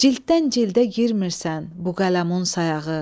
Cilddən cildə girmirsən bu qələmun sayağı.